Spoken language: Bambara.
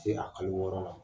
Se a kalo wɔɔrɔ la.